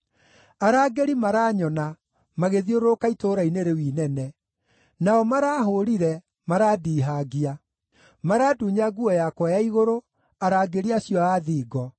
Arangĩri maranyona magĩthiũrũrũka itũũra-inĩ rĩu inene. Nao marahũũrire, marandihangia; marandunya nguo yakwa ya igũrũ, arangĩri acio a thingo!